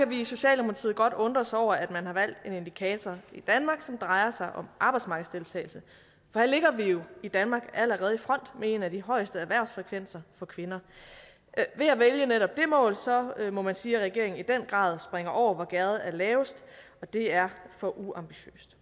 vi i socialdemokratiet godt undre os over at man har valgt en indikator i danmark som drejer sig om arbejdsmarkedsdeltagelse for her ligger vi jo i danmark allerede i front med en af de højeste erhvervsfrekvenser for kvinder ved at vælge netop det mål må man sige at regeringen i den grad springer over hvor gærdet er lavest og det er for uambitiøst